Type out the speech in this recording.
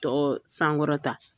Tɔ sankɔrɔta